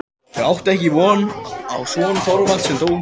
Þau áttu einn son, Þorvald, sem dó ungur.